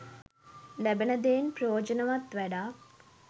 ලැබෙන දෙයින් ප්‍රයෝජනවත් වැඩක්